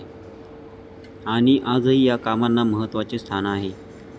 आणि आजही या कामांना महत्वाचे स्थान आहे.